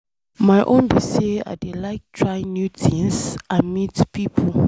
My own be say I dey like try new things and meet people.